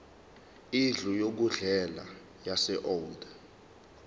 indlu yokudlela yaseold